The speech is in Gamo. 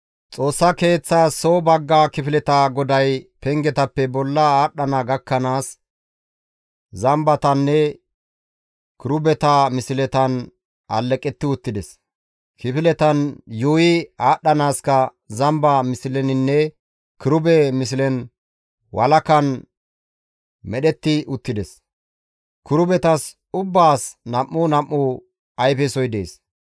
Xoossa Keeththas soo bagga kifileta goday pengetappe bolla aadhdhana gakkanaas, zambatanne kirubeta misletan alleqetti uttides; kifiletan yuuyi aadhdhanaaska zamba misleninne kirube mislen walakan medhetti uttides. Kirubetas ubbaas nam7u nam7u ayfesoy dees.